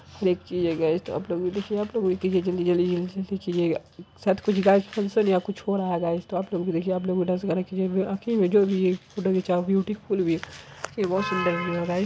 देखिए गायज त आप लोग भी देखिए आप लोग भी कीजिए जल्दी जल्दी जल्दी जल्दी कीजिएगा शायद कुछ गायक फंगक्शन या कुछ हो रहा है गायज त आप लोग भी देखिए आप लोग भी डांस गाना कीजिए ब्यूटीफुल व्यू बहुत सुंदर व्यू है राइट ।